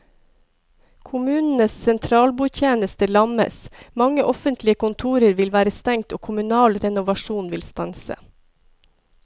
Kommunenes sentralbordtjeneste lammes, mange offentlige kontorer vil være stengt og kommunal renovasjon vil stanse.